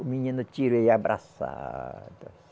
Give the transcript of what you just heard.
O menino tira ele abraçado.